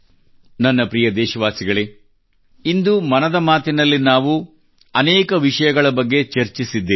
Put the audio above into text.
ನನ್ನ ಪ್ರೀತಿಯ ದೇಶವಾಸಿಗಳೇ ಇಂದು ಮನದ ಮಾತಿನಲ್ಲಿ ನಲ್ಲಿ ನಾವು ಅನೇಕ ವಿಷಯಗಳ ಬಗ್ಗೆ ಚರ್ಚಿಸಿದ್ದೇವೆ